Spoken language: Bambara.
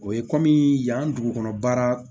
O ye kɔmi yan dugukolo baara